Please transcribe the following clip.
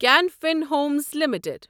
can Fin Homes limited